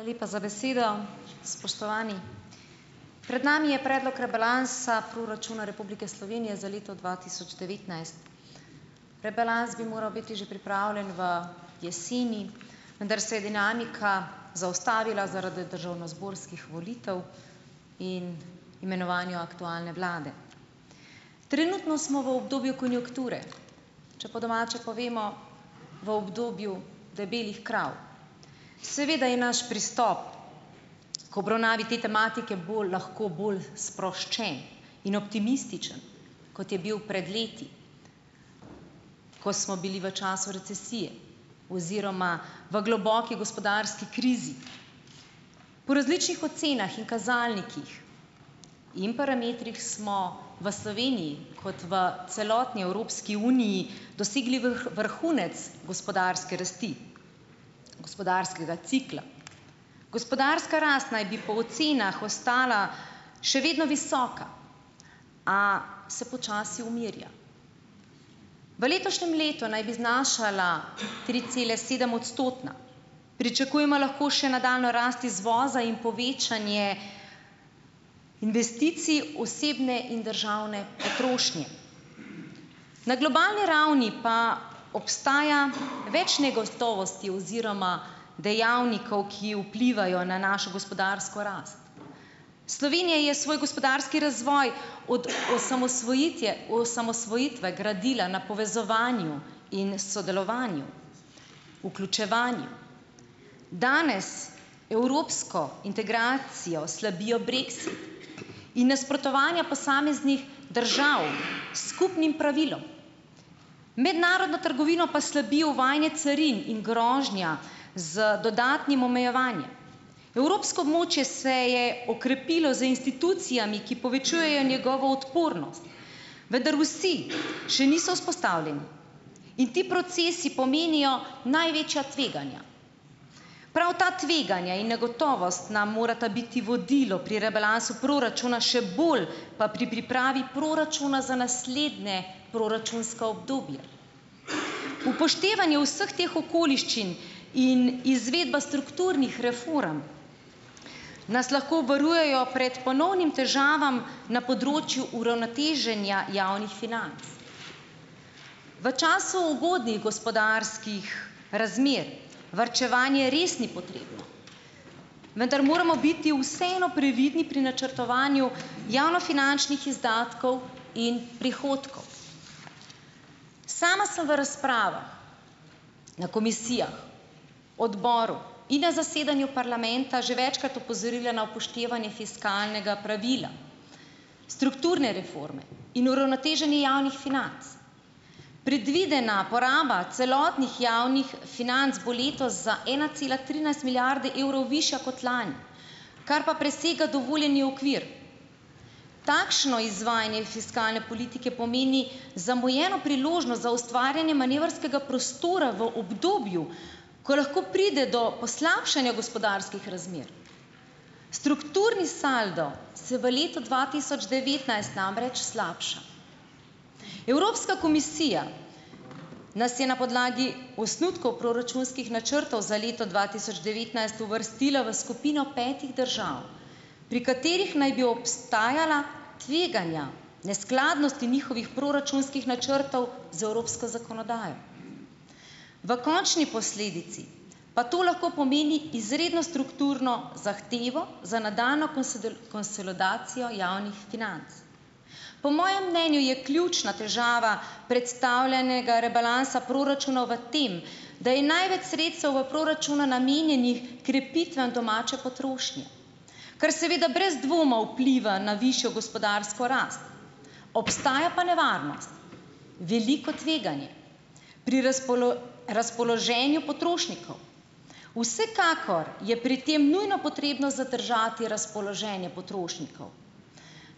Hvala lepa za besedo. Spoštovani! Pred nami je predlog rebalansa proračuna Republike Slovenije za leto dva tisoč devetnajst. Rebalans bi moral biti že pripravljen v jeseni, vendar se je dinamika zaustavila zaradi državnozborskih volitev in imenovanja aktualne vlade. Trenutno smo v obdobju konjunkture, če po domače povemo, v obdobju debelih krav. Seveda je naš pristop k obravnavi te tematike bolj lahko bolj sproščen in optimističen, kot je bil pred leti, ko smo bili v času recesije oziroma v globoki gospodarski krizi. Po različnih ocenah in kazalnikih in parametrih smo v Sloveniji kot v celotni Evropski uniji dosegli vrhunec gospodarske rasti, gospodarskega cikla. Gospodarska rast naj bi po ocenah ostala še vedno visoka, a se počasi umirja. V letošnjem letu naj bi znašala tricelesedem- odstotna, pričakujemo lahko še nadaljnjo rast izvoza in povečanje investicij, osebne in državne potrošnje. Na globalni ravni pa obstaja več negotovosti oziroma dejavnikov, ki vplivajo na našo gospodarsko rast. Slovenija je svoj gospodarski razvoj od osamosvojitje osamosvojitve gradila na povezovanju in sodelovanju, vključevanju. Danes evropsko integracijo slabijo brexit in nasprotovanja posameznih držav s skupnim pravilom, mednarodno trgovino pa slabijo uvajanje carin in grožnja z dodatnim omejevanjem. Evropsko območje se je okrepilo z institucijami, ki povečujejo njegovo odpornost, vendar vsi še niso vzpostavljeni. In ti procesi pomenijo največja tveganja. Prav ta tveganja in negotovost nam morata biti vodilo pri rebalansu proračuna, še bolj pa pri pripravi proračuna za naslednje proračunsko obdobje. Upoštevanje vseh teh okoliščin in izvedba strukturnih reform nas lahko varujejo pred ponovnimi težavami na področju uravnoteženja javnih financ. V času ugodnih gospodarskih razmer varčevanje res ni potrebno, vendar moramo biti vseeno previdni pri načrtovanju javnofinančnih izdatkov in prihodkov. Sama sem v razpravah na komisijah, odboru in na zasedanju parlamenta že večkrat opozorila na upoštevanje fiskalnega pravila, strukturne reforme in uravnoteženje javnih financ. Predvidena poraba celotnih javnih financ bo letos za ena cela trinajst milijarde evrov višja kot lani, kar pa presega dovoljeni okvir. Takšno izvajanje fiskalne politike pomeni zamujeno priložnost za ustvarjanje manevrskega prostora v obdobju, ko lahko pride do poslabšanja gospodarskih razmer. Strukturni saldo se v letu dva tisoč devetnajst namreč slabša. Evropska komisija nas je na podlagi osnutkov proračunskih načrtov za leto dva tisoč devetnajst uvrstila v skupino petih držav, pri katerih naj bi obstajala tveganja neskladnosti njihovih proračunskih načrtov z evropsko zakonodajo. V končni posledici pa to lahko pomeni izredno strukturno zahtevo za nadaljnjo konsolidacijo javnih financ. Po mojem mnenju je ključna težava predstavljenega rebalansa proračuna v tem, da je največ sredstev v proračunu namenjenih krepitvam domače potrošnje, kar seveda brez dvoma vpliva na višjo gospodarsko rast. Obstaja pa nevarnost, veliko tveganje pri razpoloženju potrošnikov. Vsekakor je pri tem nujno potrebno zadržati razpoloženje potrošnikov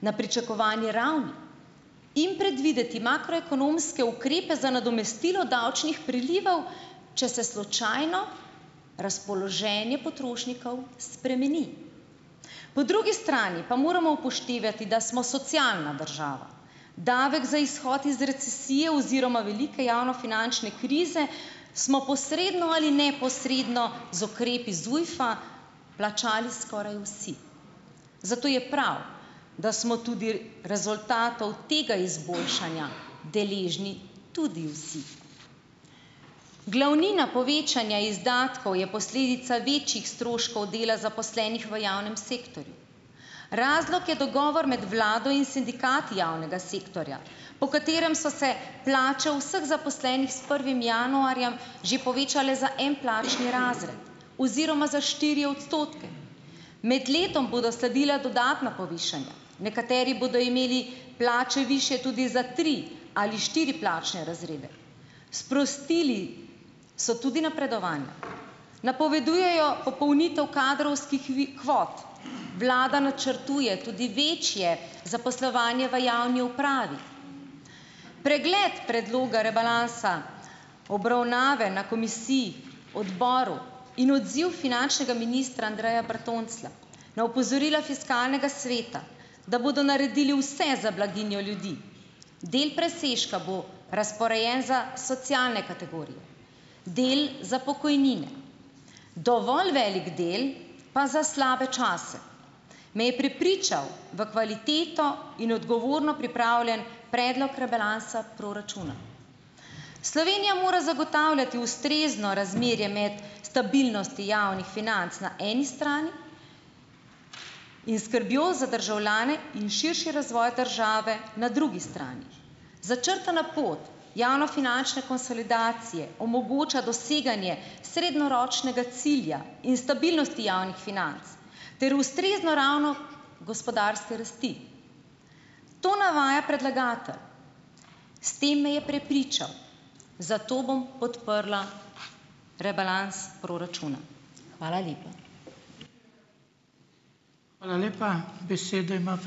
na pričakovani ravni in predvideti makroekonomske ukrepe za nadomestilo davčnih prilivov, če se slučajno razpoloženje potrošnikov spremeni. Po drugi strani pa moramo upoštevati, da smo socialna država. Davek za izhod iz recesije oziroma velike javnofinančne krize smo posredno ali neposredno z ukrepi ZUJF-a plačali skoraj vsi. Zato je prav, da smo tudi rezultatov tega izboljšanja deležni tudi vsi. Glavnina povečanja izdatkov je posledica večjih stroškov dela zaposlenih v javnem sektorju. Razlog je dogovor med vlado in sindikati javnega sektorja, po katerem so se plače vseh zaposlenih s prvim januarjem že povečale za en plačni razred. Oziroma za štiri odstotke. Med letom bodo sledila dodatna povišanja. Nekateri bodo imeli plače višje tudi za tri ali štiri plačne razrede. Sprostili so tudi napredovanja. Napovedujejo popolnitev kadrovskih kvot. Vlada načrtuje tudi večje zaposlovanje v javni upravi. Pregled predloga rebalansa obravnave na komisiji, odboru in odziv finančnega ministra Andreja Bertonclja na opozorila fiskalnega sveta, da bodo naredili vse za blaginjo ljudi, del presežka bo razporejen za socialne kategorije, del za pokojnine, dovolj velik del pa za slabe čase, me je prepričal v kvaliteto in odgovorno pripravljen predlog rebalansa proračuna. Slovenija mora zagotavljati ustrezno razmerje med stabilnostjo javnih financ na eni strani in skrbjo za državljane in širši razvoj države na drugi strani. Začrtana pot javnofinančne konsolidacije omogoča doseganje srednjeročnega cilja in stabilnosti javnih financ ter ustrezno raven gospodarske rasti. To navaja predlagatelj. S tem me je prepričal. Zato bom podprla rebalans proračuna. Hvala lepa. Hvala lepa. Besedo ima ...